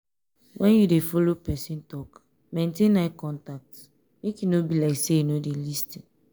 when you dey follow person talk maintain eye contact make e no be like sey you no dey lis ten